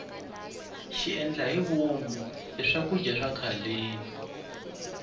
xiendlahivomu i swakudya swa khaleni